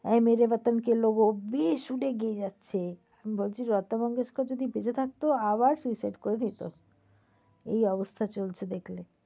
এয় মেরে বাতান কে লোগো বেসুরো গেয়ে যাচ্ছে। বলছি লতা মুঙ্গেশকর যদি বেঁচে থাকতো আবার suicide করে ফেলতো। এই অবস্থা চলছে দেখলে।